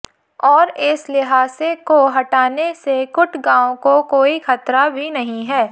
और इस ल्हासे को हटाने से कुट गांव को कोई खतरा भी नहीं है